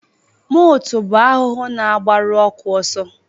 Motu bụ ahụhụ na-agbaru ọkụ ọsọ